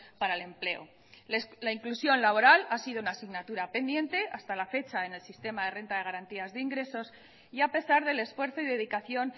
para el empleo la inclusión laboral ha sido una asignatura pendiente hasta la fecha en el sistema de renta de garantías de ingresos y a pesar del esfuerzo y dedicación